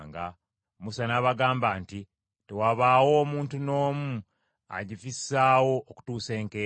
Musa n’abagamba nti, “Tewabaawo omuntu n’omu agifissaako okutuusa enkeera.”